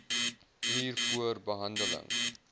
uur voor behandeling